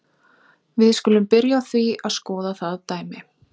Við skulum byrja á því að skoða það dæmi.